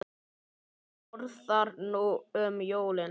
Hvað borðar þú um jólin?